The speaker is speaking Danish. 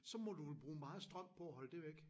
Så må du vel bruge meget strøm på at holde det væk